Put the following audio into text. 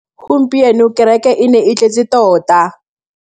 Gompieno kêrêkê e ne e tletse tota.